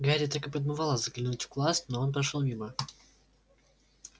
гарри так и подмывало заглянуть в класс но он прошёл мимо